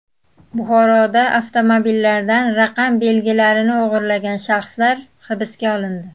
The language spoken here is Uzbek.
Buxoroda avtomobillardan raqam belgilarini o‘g‘irlagan shaxslar hibsga olindi.